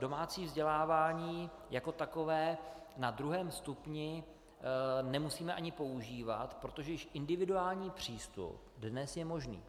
Domácí vzdělávání jako takové na druhém stupni nemusíme ani používat, protože již individuální přístup dnes je možný.